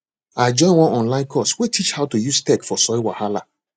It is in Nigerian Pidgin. i join one online course wey teach how to use tech for soil wahala